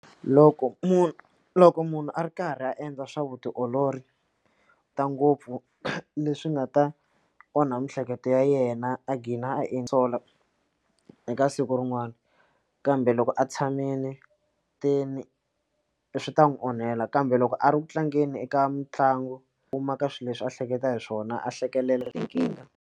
Loko munhu loko munhu a ri karhi a endla swa vutiolori ta ngopfu leswi nga ta onha mihleketo ya yena a gina a sola eka siku rin'wana kambe loko a tshamile ti ni swi ta n'wi onhela kambe loko a ri ku tlangeni eka mitlangu ka swilo leswi a hleketa hi swona a hlekelela .